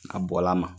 A bɔla a ma